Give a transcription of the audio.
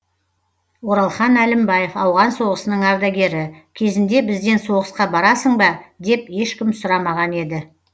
оралхан әлімбаев ауған соғысының ардагері кезінде бізден соғысқа барасың ба деп ешкім сұрамаған еді